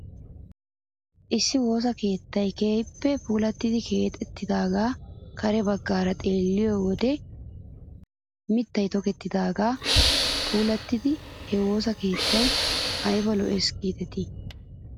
Issi woosa keettay keehippe puulattidi keexettidaagee kare bagaara xeelliyoo wode mittay tokettidaagaara puulattidi he woosa keettay ayba lo'es giidetii .